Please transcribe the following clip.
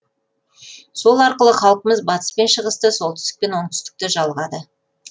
сол арқылы халқымыз батыс пен шығысты солтүстік пен оңтүстікті жалғады